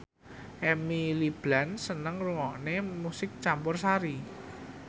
Emily Blunt seneng ngrungokne musik campursari